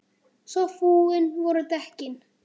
Svo fúin voru dekkin.